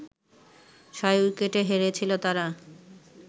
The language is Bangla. ছয় উইকেটে হেরেছিল তারা